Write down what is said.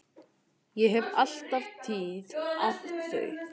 Ég hef alla tíð átt þau.